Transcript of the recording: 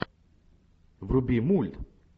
вруби мульт